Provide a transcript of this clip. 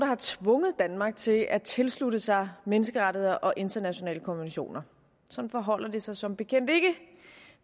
har tvunget danmark til at tilslutte sig menneskerettighederne og internationale konventioner sådan forholder det sig som bekendt ikke